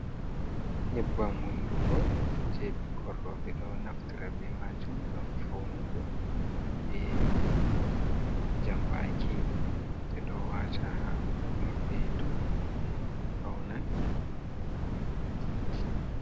nyebbam hunduko jay ɓikkon rooɓe, ɓe ɗon naftira be maajum ngam fawnugo, be jambaaki, ɓe ɗo waata haa hunnduko mabɓe to niini ɓe fawnan.